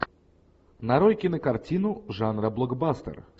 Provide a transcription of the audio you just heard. нарой кинокартину жанра блокбастер